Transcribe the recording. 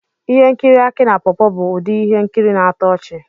Ihe nkiri Aki na pawpaw bụ ụdị ihe nkiri na-atọ ọchị.